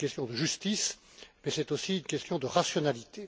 C'est une question de justice, mais c'est aussi une question de rationalité.